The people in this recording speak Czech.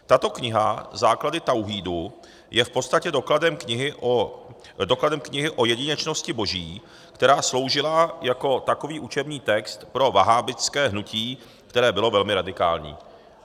Tato kniha Základy Tauhídu je v podstatě dokladem knihy o jedinečnosti Boží, která sloužila jako takový učební text pro vahábitské hnutí, které bylo velmi radikální."